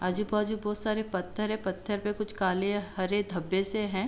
आजू बाजू बहुत सारे पत्थर है। पत्थर पे हरे काले धब्बे से हैं।